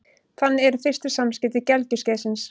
Þannig eru fyrstu samskipti gelgjuskeiðsins.